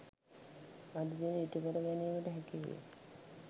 අද දින ඉටු කර ගැනීමට හැකිවේ.